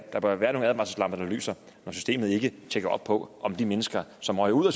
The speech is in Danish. der bør være nogle advarselslamper der lyser når systemet ikke tjekker op på om de mennesker som røg ud af